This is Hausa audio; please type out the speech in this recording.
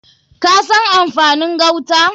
Ka san amfanin gauta?